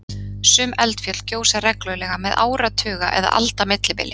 Sum eldfjöll gjósa reglulega með áratuga eða alda millibili.